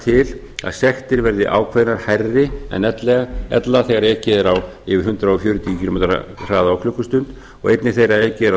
til að sektir verði ákveðnar hærri en ella þegar ekið er á yfir hundrað fjörutíu kílómetra hraða á klukkustund og einnig þegar ekið er á